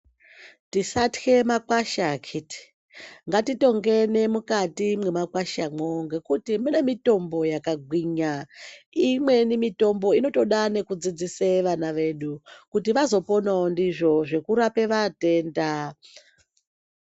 Tisatye makwasha akiti!, ngatitongene mukati mwemakwasha mwo ngekuti mune mitombo yakagwinya. Imweni mitombo inotoda nekudzidzisa vana vedu kuti vazoponawo ndizvo zvekurape matenda.